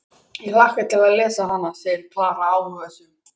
Ég hlakka til að lesa hana, segir Klara áhugasöm.